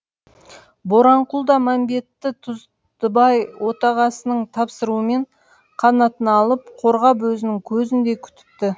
боранқұл да мәмбетті тұздыбай отағасының тапсыруымен қанатына алып қорғап өзінің көзіндей күтіпті